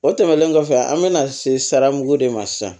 O tɛmɛnen kɔfɛ an bɛna se sara mugu de ma sisan